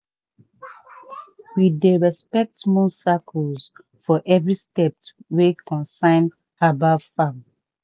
we dey respect moon cycles for every step wey concern herbal farm.